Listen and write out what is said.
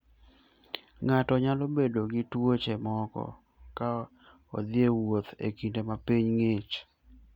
Ng'ato nyalo bedo gi tuoche moko ka odhi e wuoth e kinde ma piny ng'ich.